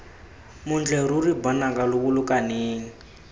montle ruri banaka lo bolokaneng